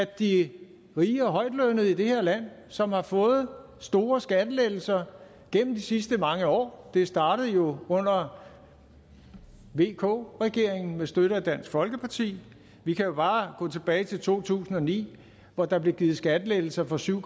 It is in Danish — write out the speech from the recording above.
de rige og højtlønnede i det her land som har fået store skattelettelser gennem de sidste mange år det startede jo under vk regeringen med støtte af dansk folkeparti vi kan jo bare gå tilbage til to tusind og ni hvor der blev givet skattelettelser for syv